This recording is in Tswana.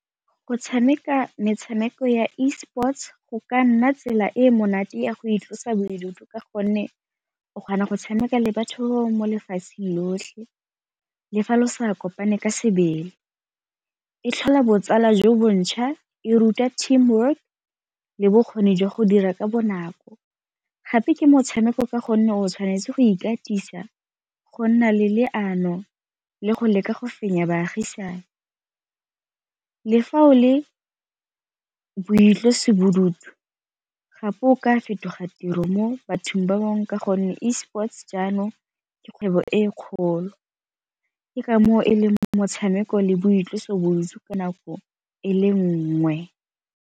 Go tshameka metshameko ya e-sports go ka nna tsela e e monate ya go itlosa bodutu ka gonne o kgona go tshameka le batho mo lefatsheng lotlhe le fa lo sa kopane ka sebele. E tlhola botsala jo bontšha e ruta team work le bokgoni jwa go dira ka bonako, gape ke motshameko ka gonne o tshwanetse go ikatisa, go nna le leano le go leka go fenya baagisane. Le fa o le boitlosobodutu gape o ka fetoga tiro mo bathong ba bangwe ka gonne e-sports jaanong ke kgwebo e e kgolo, ke kamoo e le motshameko le boitlosobodutu ka nako e le nngwe.